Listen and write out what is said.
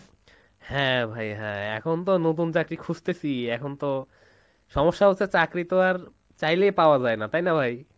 হ্যাঁ ভাই হ্যাঁ , এখন তো নতুন চাকরি খুজতেসি, এখন তো, সমস্যা হচ্ছে চাকরি তো আর চাইলেই পাওয়া যায়, তাই না ভাই?